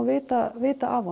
vita vita af